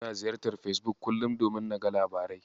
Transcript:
Ina ziyartar Fesbuk kullum domin naga labarai.